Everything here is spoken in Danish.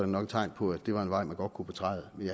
nok et tegn på at det var en vej man godt kunne betræde men